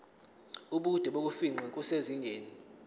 ubude bokufingqa kusezingeni